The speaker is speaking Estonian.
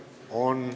On.